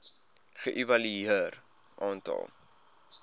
ge evalueer aantal